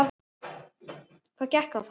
Hvað gekk á þá?